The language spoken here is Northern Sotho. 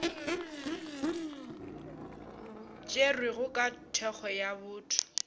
tšerwego ka thekgo ya bouto